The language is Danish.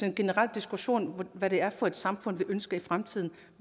en generel diskussion om hvad det er for et samfund vi ønsker i fremtiden